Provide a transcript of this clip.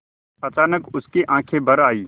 अचानक उसकी आँखें भर आईं